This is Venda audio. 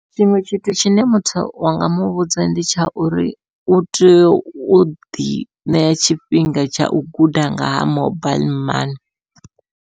Tshiṅwe tshithu tshine muthu wa nga muvhudza ndi tsha uri u tea u ḓi ṋea tshifhinga tshau guda nga ha mobaiḽi mani.